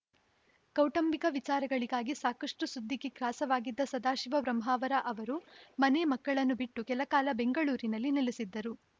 ಕೌಟುಂಬಿಕ ವಿಚಾರಗಳಿಗಾಗಿ ಸಾಕಷ್ಟುಸುದ್ದಿಗೆ ಗ್ರಾಸವಾಗಿದ್ದ ಸದಾಶಿವ ಬ್ರಹ್ಮಾವರ್‌ ಅವರು ಮನೆ ಮಕ್ಕಳನ್ನು ಬಿಟ್ಟು ಕೆಲ ಕಾಲ ಬೆಂಗಳೂರಿನಲ್ಲಿ ನೆಲೆಸಿದ್ದರು